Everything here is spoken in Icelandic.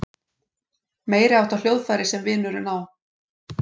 Meiriháttar hljóðfæri sem vinurinn á.